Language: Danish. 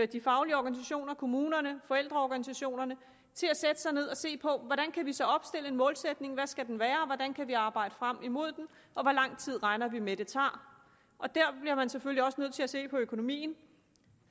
de faglige organisationer kommunerne forældreorganisationerne til at sætte sig ned og se på hvordan kan vi så opstille en målsætning hvad skal den være hvordan kan vi arbejde frem imod den og hvor lang tid regner vi med at det tager og der bliver man selvfølgelig også nødt til at se på økonomien